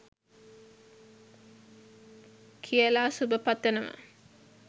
කියලා සුභ පතනවා